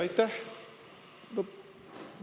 Aitäh!